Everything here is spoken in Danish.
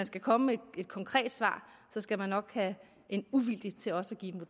skal komme et konkret svar skal man nok have en uvildig til også at give